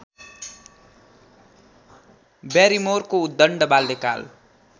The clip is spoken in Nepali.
ब्यारिमोरको उद्दण्ड बाल्यकाल